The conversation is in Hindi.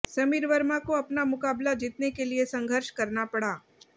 समीर वर्मा को अपना मुकाबला जीतने के लिए संघर्ष करना पड़ा